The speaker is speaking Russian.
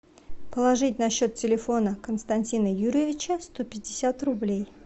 положить на счет телефона константина юрьевича сто пятьдесят рублей